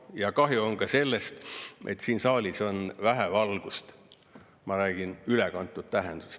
Ja kahju on sellest, et siin saalis on vähe valgust – ma räägin ülekantud tähenduses.